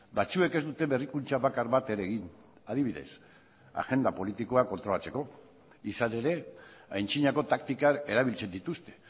batzuek ez dute berrikuntza bakar bat ere egin adibidez agenda politikoa kontrolatzeko izan ere antzinako taktikak erabiltzen dituzte